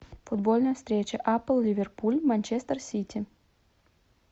футбольная встреча апл ливерпуль манчестер сити